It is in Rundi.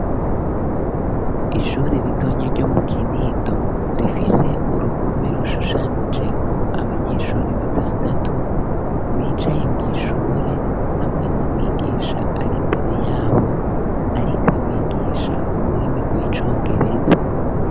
Ishure ritonya ryo mu Kinindo rifise uruhome rushushanije ko abanyeshuri batandatu bicaye mw'ishure hamwe n'umwigisha ari mbere yabo arikabigisha ururimi rw'icongereza.